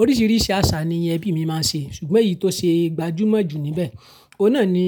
Oríṣiríṣi àṣà ni ẹbí mi máa ń ṣe, ṣùgbọ́n èyí tó ṣe gbajúmọ̀ jù níbẹ̀, ọ̀ na ni